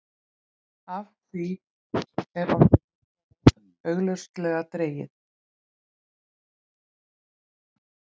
Af því er orðið heillaráð augljóslega dregið.